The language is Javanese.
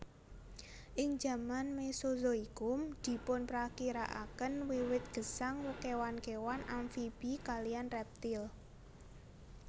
Ing jaman mesozoikum dipunprakirakaken wiwit gesang kéwan kéwan amfibi kaliyan reptil